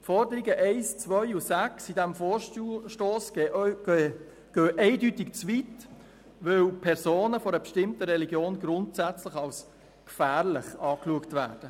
Die Forderungen 1, 2 und 6 dieses Vorstosses gehen eindeutig zu weit, weil Personen einer bestimmten Religion grundsätzlich als gefährlich betrachtet werden.